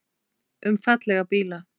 Um fallega bíla.